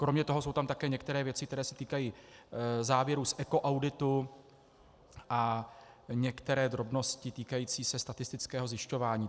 Kromě toho jsou tam také některé věci, které se týkají závěrů z ekoauditu, a některé drobnosti týkající se statistického zjišťování.